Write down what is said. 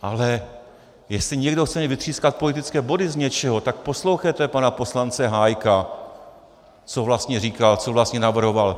Ale jestli někdo chce jen vytřískat politické body z něčeho, tak poslouchejte pana poslance Hájka, co vlastně říkal, co vlastně navrhoval.